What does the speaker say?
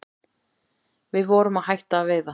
Við vorum að hætta að veiða